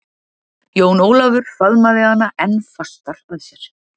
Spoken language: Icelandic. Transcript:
Jón Ólafur faðmaði hana enn fastar að sér.